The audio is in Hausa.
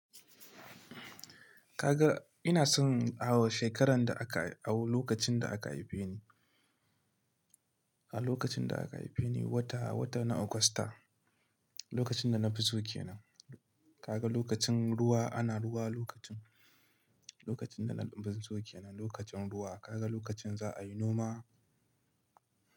Ka ga ina son shekaran da aka, a lokacin da aka haife ni, a lokacin da aka haife ni wata, wata na Augusta, lokacin da na fi sokenan, Kaga lokacin ruwa ana ruwa lokacin, lokacin da na fi sokenan lokacin ruwa. Kaga lokacin za a yi noma.